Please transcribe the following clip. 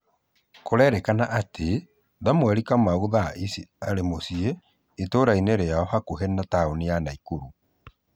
Kũrerĩkana aty Thamwerĩ Kamau thaa ĩcĩ arĩ mucĩĩ ĩturaĩnĩ rĩao hakuhĩ na taunĩ ya Naikuru